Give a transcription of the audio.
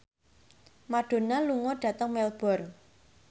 Madonna lunga dhateng Melbourne